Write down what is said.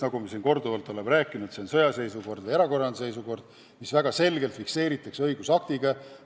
Nagu me siin korduvalt oleme rääkinud, sõjaseisukord ja erakorraline seisukord fikseeritakse väga selgelt õigusaktiga.